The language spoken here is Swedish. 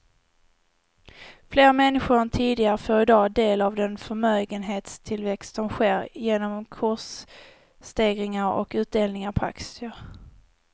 Fler människor än tidigare får i dag del av den förmögenhetstillväxt som sker genom kursstegringar och utdelningar på aktier.